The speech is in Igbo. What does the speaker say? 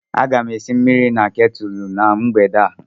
Aga m esi mmiri na ketulu na mgbede a.